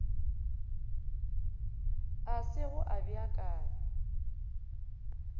a se go a beakanywa